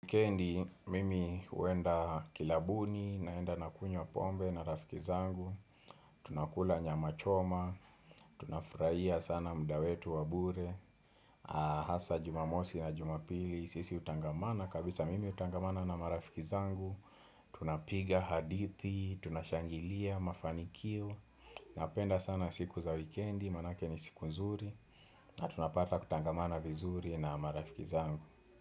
Wikendi, mimi huenda kilabuni, naenda na kunywa pombe na rafiki zangu, tunakula nyama choma, tunafurahia sana mda wetu wa bure, Hasa jumamosi na jumapili, sisi utangamana, kabisa mimi utangamana na marafiki zangu, tunapiga hadithi, tunashangilia, mafanikio, napenda sana siku za wikendi, manake ni siku nzuri, na tunapata kutangamana vizuri na marafiki zangu.